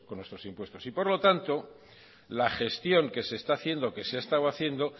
con nuestros impuestos y por lo tanto la gestión que se está haciendo que se ha estado haciendo